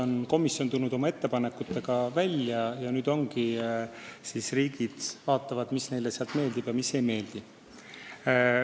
Jah, komisjon on tulnud oma ettepanekutega välja ja nüüd riigid vaatavad, mis neile sealt meeldib ja mis ei meeldi.